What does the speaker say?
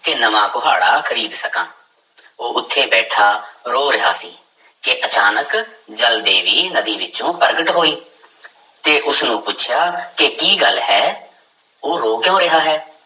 ਕਿ ਨਵਾਂ ਕੁਹਾੜਾ ਖ਼ਰੀਦ ਸਕਾਂ ਉਹ ਉੱਥੇ ਬੈਠਾ ਰੋ ਰਿਹਾ ਸੀ ਕਿ ਅਚਾਨਕ ਜਲ ਦੇਵੀ ਨਦੀ ਵਿੱਚੋਂ ਪ੍ਰਗਟ ਹੋਈ ਤੇ ਉਸਨੂੰ ਪੁੱਛਿਆ ਕਿ ਕੀ ਗੱਲ ਹੈ ਉਹ ਰੋ ਕਿਉਂ ਰਿਹਾ ਹੈ।